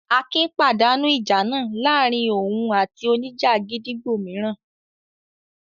Akin pàdánù ìjà náà láàárin òun àti oníjà gídígbò mìíràn.